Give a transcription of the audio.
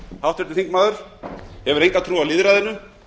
háttvirtur þingmaður hefur enga trú á lýðræðinu